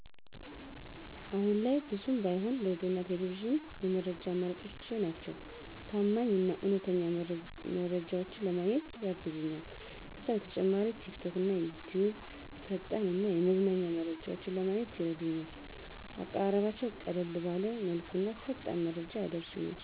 አሁን ላይም ብዙም ባይሆን ሬዲዮና ቴሌቪዥን የመረጃ አማራጮቼ ናቸው። ታማኝ እና እውነተኛ መረጃዎችን ለማግኘትም ያግዙኛል። ከዛ በተጨማሪ ቲክቶክና ዩትዩብ ፈጣን እና የመዝናኛ መረጃዎችን ለማግኘት ይረዱኛል፣ አቀራረባቸው ቀለል ባለ መልኩና ፈጣን መረጃ ያደርሱኛል።